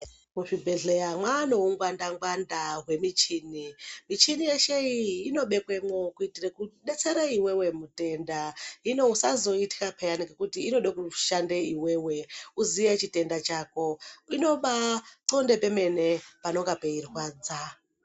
Muzvibhedhleya mwaane ungwanda ngwanda hwemuchini michini yeshe iyi inobekwemwo kuitire kudetsere iwewe mutenda hino usazoitka peyana ngekuti inode kushande iwewe uziye chitenda chako inobaa thonde pemene panenge peirwadza.